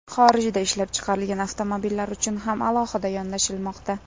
Xorijda ishlab chiqarilgan avtomobillar uchun ham alohida yondashilmoqda.